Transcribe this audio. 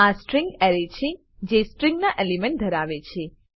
આ string array છે જેસ્ટ્રીંગના એલિમેન્ટ ધરાવે છે